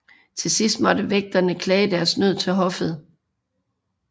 Til sidst måtte vægterne klage deres nød til hoffet